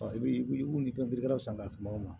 i bi wuli san ka suma ma